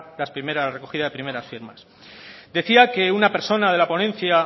la recogida de las primeras firmas decía que una persona de la ponencia